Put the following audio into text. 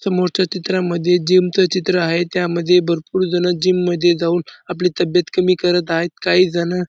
समोरच्या चित्रामध्ये जिम च चित्र आहे त्यामध्ये भरपूर जण जिम मध्ये जाऊन आपली तब्येत कमी करत आहेत काहीजण --